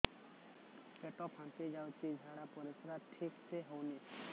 ପେଟ ଫାମ୍ପି ଯାଉଛି ଝାଡ଼ା ପରିସ୍ରା ଠିକ ସେ ହଉନି